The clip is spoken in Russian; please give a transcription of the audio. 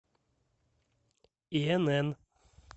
инн